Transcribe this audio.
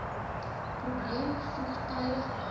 probleem vroegtydig behandel